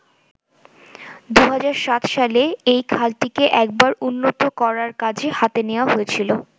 ২০০৭ সালে এই খালটিকে একবার উন্নত করার কাজ হাতে নেওয়া হয়েছিলো।